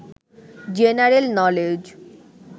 general knowledge